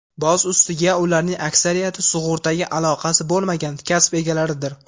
Boz ustiga, ularning aksariyati sug‘urtaga aloqasi bo‘lmagan kasb egalaridir.